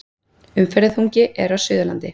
Umferðarþungi er á Suðurlandi